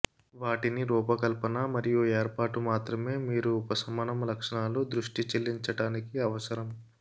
వాటిని రూపకల్పన మరియు ఏర్పాటు మాత్రమే మీరు ఉపశమనం లక్షణాలు దృష్టి చెల్లించటానికి అవసరం